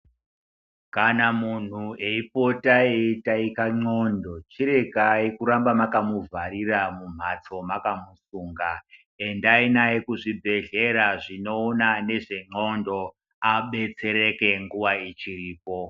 Kana muntu eipota eitaika ndxondo chiregai kuramba makamuvharira mumhatso makamusunga. Endai naye kuzvibhedhlera zvinoona nezvendxondo abetsereke nguva ichiripo.